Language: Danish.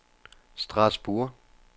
Strasbourg